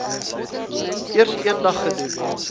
eers eendag gedoen